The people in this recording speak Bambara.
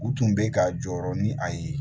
U tun bɛ ka jɔyɔrɔ ni a ye